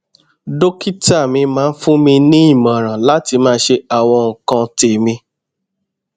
dókítà mi máa ń fún mi ní ìmọràn láti máa ṣe àwọn nǹkan tèmí